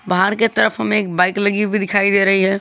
बाहर के तरफ में एक बाइक लगी हुई दिखाई दे रही है।